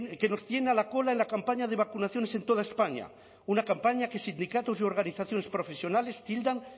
que nos tiene a la cola en la campaña de vacunaciones en toda españa una campaña que sindicatos y organizaciones profesionales tildan